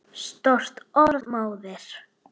Stórt orð móðir!